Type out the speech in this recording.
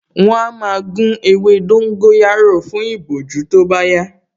Wọ́n á máa gún ewé dóngóyárò fún ìbojú tó bá yá